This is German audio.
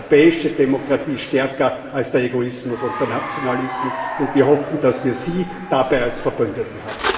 Die europäische Demokratie ist stärker als der Egoismus und der Nationalismus, und wir hoffen, dass wir Sie dabei als Verbündeten haben.